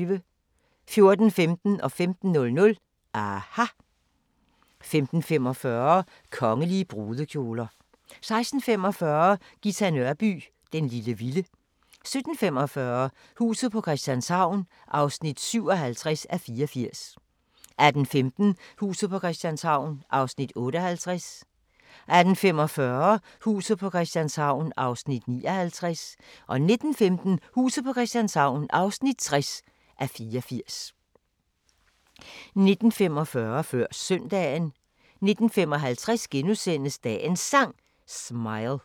14:15: aHA! 15:00: aHA! 15:45: Kongelige brudekjoler 16:45: Ghita Nørby "Den lille vilde" 17:45: Huset på Christianshavn (57:84) 18:15: Huset på Christianshavn (58:84) 18:45: Huset på Christianshavn (59:84) 19:15: Huset på Christianshavn (60:84) 19:45: Før Søndagen 19:55: Dagens Sang: Smile *